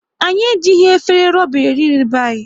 Anyị e jighị efere ruba e ri nri n'be anyị